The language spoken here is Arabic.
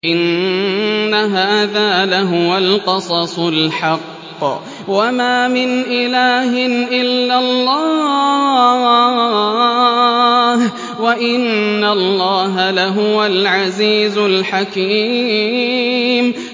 إِنَّ هَٰذَا لَهُوَ الْقَصَصُ الْحَقُّ ۚ وَمَا مِنْ إِلَٰهٍ إِلَّا اللَّهُ ۚ وَإِنَّ اللَّهَ لَهُوَ الْعَزِيزُ الْحَكِيمُ